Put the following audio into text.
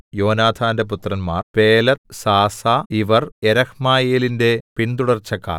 യോനാഥാന്റെ പുത്രന്മാർ Peleth Zaza ഇവർ യെരഹ്മയെലിന്റെ പിന്തുടർച്ചക്കാർ